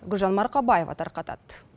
гүлжан марқабаева тарқатады